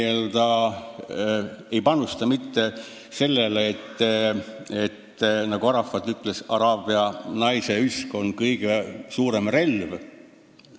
Ja mõtelge selle peale, mida Arafat ütles, et araabia naise üsk on tema jaoks kõige suurem relv.